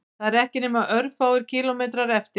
Það eru ekki nema örfáir kílómetrar eftir